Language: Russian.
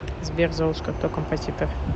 сбер золушка кто композитор